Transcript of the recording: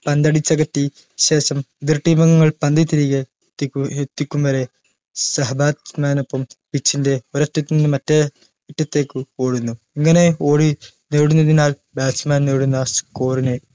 പന്തടിച്ചകറ്റി ശേഷം എതിർ team അംഗങ്ങൾ പന്ത് തിരികെ എത്തിക്കു എത്തിക്കും വരെ സഹ bat man നൊപ്പം pitch ഒരത്ത് നിന്ന് മറ്റേ അറ്റത്തേക്ക് ഓടുന്നു ഇങ്ങനെ ഓടി നേടുന്നതിനാൽ bat man നേടുന്ന score നെ